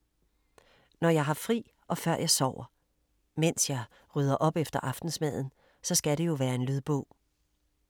Når jeg har fri og før jeg sover. Mens jeg rydder op efter aftensmaden, så skal det jo være en lydbog.